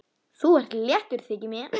Þú ert léttur, þykir mér!